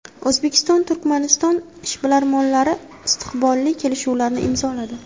O‘zbekiston – Turkmaniston ishbilarmonlari istiqbolli kelishuvlarni imzoladi.